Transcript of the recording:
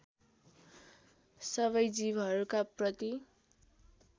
सबै जीवहरूका प्रति